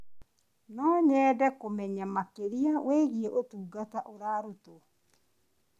No nyende kũmenya makĩria wĩgiĩ ũtungata ũrarutwo.